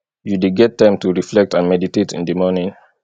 you dey get time to reflect and meditate in di morning